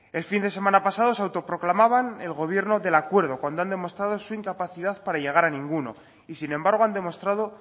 el fin de semana pasado se autoproclamaban el gobierno del acuerdo cuando han demostrado su incapacidad para llegar a ninguno y sin embargo han demostrado